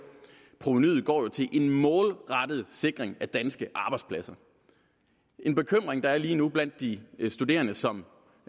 provenuet går til en målrettet sikring af danske arbejdspladser en bekymring der er lige nu blandt de studerende som